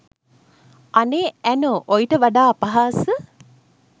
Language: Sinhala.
අනේ ඇනෝ ඔයිට වඩා අපහාස